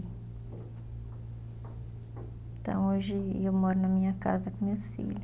Então, hoje eu moro na minha casa com meus filho.